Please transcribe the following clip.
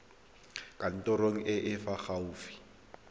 kantorong e e fa gaufi